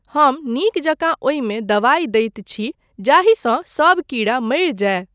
हम नीक जकाँ ओहिमे दबाई दैत छी जाहिसँ सब कीड़ा मरि जाय।